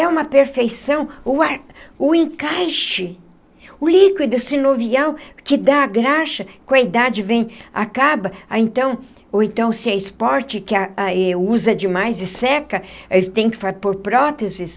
É uma perfeição o ar o encaixe, o líquido sinovial que dá a graxa, com a idade vem, acaba, a então ou então se é esporte, usa demais e seca, tem que pôr próteses.